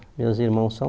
Meus irmãos são